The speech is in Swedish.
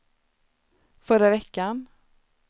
förra veckan